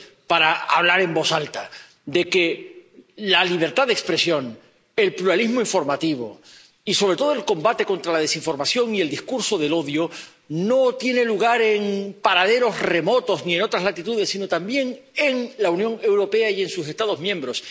para hablar en voz alta de que la libertad de expresión, el pluralismo informativo y, sobre todo, el combate contra la desinformación y el discurso del odio no tienen lugar en paraderos remotos ni en otras latitudes, sino también en la Unión Europea y en sus Estados miembros